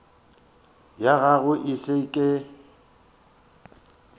ya gago e se ke